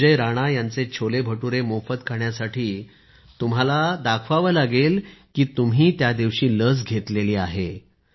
संजय राणा यांचे छोलेभटूरे मोफत खाण्यासाठी तुम्हाला दाखवावे लागेल कि तुम्ही त्यादिवशी लस घेतलेली आहे